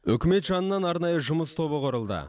үкімет жанынан арнайы жұмыс тобы құрылды